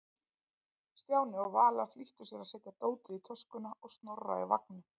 Stjáni og Vala flýttu sér að setja dótið í töskuna og Snorra í vagninn.